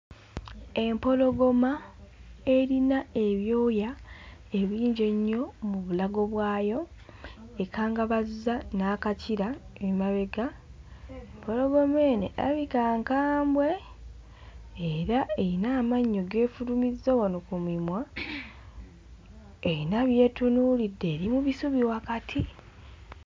Empologoma erina ebyoya ebingi ennyo mu bulago bwayo ekangabazza n'akakira emabega. Empologoma eno erabika nkambwe era erina amannyo g'efulumizza wano ku mimwa, eyina by'etunuulidde eri mu bisubi wakati.